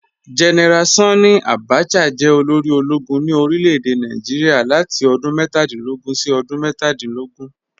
General Sanni Abacha jẹ́ olórí ọlọ́gùn ní orílẹ̀-èdè Nàìjíríà látì odún mẹ́tàdìnlógún sí odún mẹ́tàdìnlógún